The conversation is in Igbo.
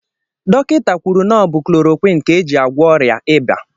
Dọkịta kwụrụ na ọ bụ chloroquine ka éjị agwọ ọrịa ịba.